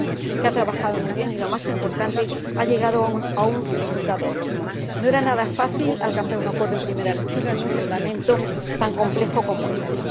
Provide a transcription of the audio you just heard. Callanan, que ha trabajado muy bien y, lo más importante, ha llegado a un resultado óptimo. No era nada fácil alcanzar un acuerdo en primera lectura en un reglamento tan complejo como éste.